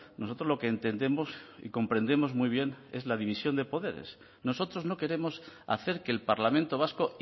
nosotros lo que entendemos y comprendemos muy bien es la división de poderes nosotros no queremos hacer que el parlamento vasco